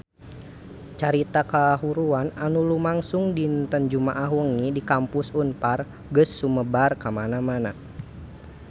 Carita kahuruan anu lumangsung dinten Jumaah wengi di Kampus Unpar geus sumebar kamana-mana